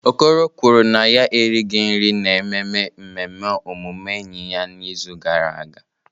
Okoro kwuru na ya erighị nri n'ememme mmemme ọmụmụ enyi ya n'izu gara aga.